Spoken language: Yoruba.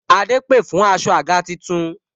Adé pè fún aṣọ àga tuntun